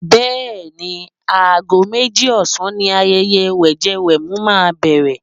Bẹ́ẹ̀ni, ago méjì ọ̀sán ni ayẹyẹ wẹ̀jẹwẹ̀mu máa bẹ̀rẹ̀.